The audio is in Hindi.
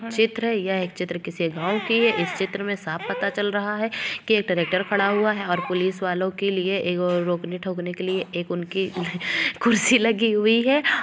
चित्र हैं यह चित्र किसी गाँव की है इस चित्र में साफ़ पता चल रहा है की एक ट्रेक्टर खड़ा हुआ है और पुलिस वालों के लिए एक रोकने ठोकने के लिए एक उनकी कुर्सी लगी हुई है।